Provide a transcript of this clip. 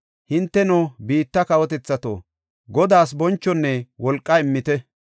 Hinteno, biitta kawotethato, Godaa bonchonne wolqa immite.